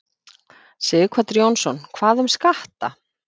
Sighvatur Jónsson: Hvað um skatta?